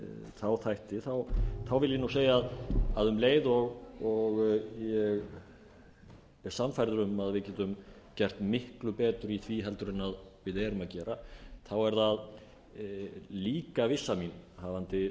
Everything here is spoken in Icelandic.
þá þætti þá vil ég segja að um leið og ég er sannfærður um að við getum gert miklu betur í því heldur en við erum að gera þá er það líka vissa mín hafandi